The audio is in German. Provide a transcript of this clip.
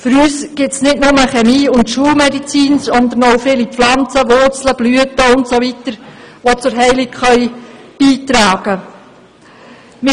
Für uns gibt es nicht nur Chemie und Schulmedizin, sondern auch viele Pflanzen, Wurzeln, Blüten usw., die zur Heilung beitragen können.